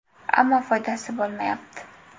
Ammo foydasi bo‘lmayapti.